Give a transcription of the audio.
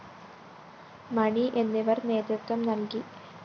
മണി എന്നിവര്‍ നേതൃത്വം നല്‍കി